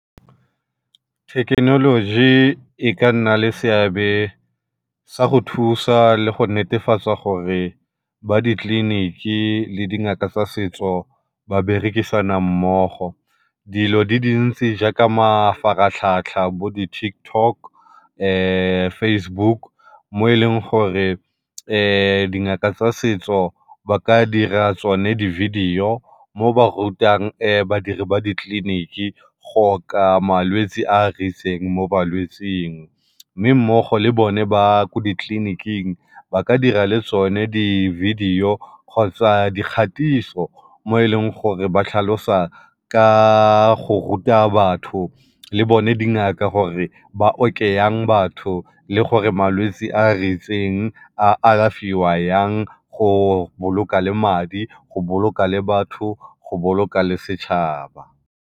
Thekenoloji e ka nna le seabe sa go thusa le go netefatsa gore ba ditleliniki le dingaka tsa setso ba berekisana mmogo. Dilo di dintsi jaaka mafaratlhatlha, bo di-TikTok, Facebook mo e leng gore dingaka tsa setso ba ka dira tsone di-video mo ba rutang badiri ba ditleliniki go oka malwetsi a a ritseng mo balwetsing. Mme mmogo le bone ba ko ditleliniking ba ka dira le tsone di-video kgotsa dikgatiso mo e leng gore ba tlhalosa ka go ruta batho le bone dingaka gore ba oke yang batho le gore malwetsi a a ritseng a alafiwa yang go boloka le madi, go boloka le batho, go boloka le setšhaba.